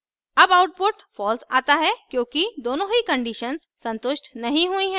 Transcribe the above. अब output false आता है क्योंकि दोनों ही conditions संतुष्ट नहीं हुई हैं